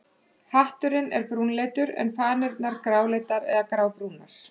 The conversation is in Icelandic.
Hatturinn er brúnleitur en fanirnar gráleitar eða grábrúnar.